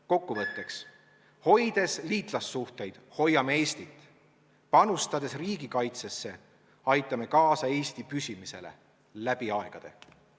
Kokkuvõtteks: hoides liitlassuhteid, hoiame Eestit, panustades riigikaitsesse, aitame kaasa Eesti püsimisele läbi aegade.